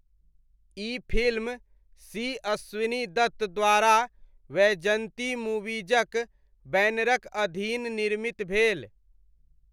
ई film C. Ashwini Dutt द्वारा वैजयन्ती मूवीजक बैनरक अधीन निर्मित भेल।